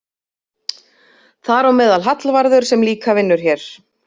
Þar á meðal Hallvarður sem líka vinnur hér.